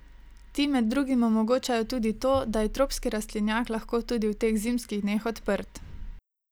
Ti med drugim omogočajo tudi to, da je tropski rastlinjak lahko tudi v teh zimskih dneh odprt.